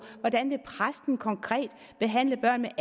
hvordan vil præsten konkret behandle børn